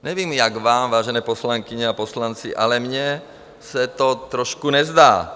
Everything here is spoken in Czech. Nevím, jak vám, vážené poslankyně a poslanci, ale mně se to trošku nezdá.